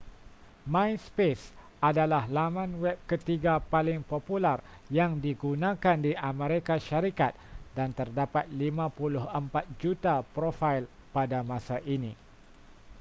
myspace adalah laman web ketiga paling popular yang digunakan di amerika syarikat dan terdapat 54 juta profail pada masa ini